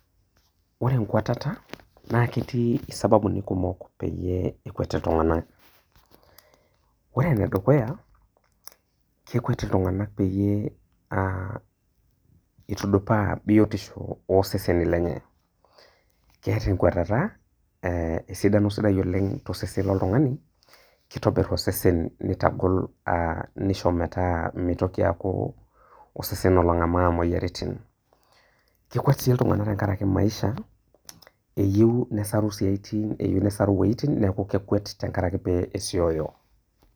Ore enkwatata na ketiisababuni kumok pekwet ltunganak, ore enedukuya kekwet ltunganak peyie aa etudupaa biotisho oseseni lenye, keata enkwatata esidano osesen tosesen loltungani kitobir osesen nitagol metaa mitoki aaku osesen olongamaa moyiaritin, kekwet si ltunganak tenkaraki maisha eyieu nesaru woitin neaku kekwet tenkaraki pesioyo.